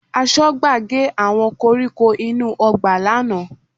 Aṣọ́gbà gé àwọn koríko inú ọgbà lánàá